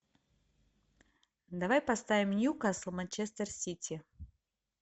давай поставим ньюкасл манчестер сити